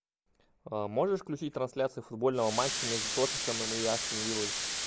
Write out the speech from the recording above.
можешь включить трансляцию футбольного матча между тоттенхэмом и астон виллой